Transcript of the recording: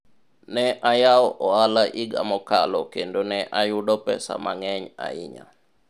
ne ayawo ohala higa mokalo kendo ne ayudo pesa mang'eny ahinya